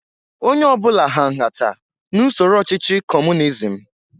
Onye ọ bụla hà nhata n'usoro ọchịchị Kọmunizm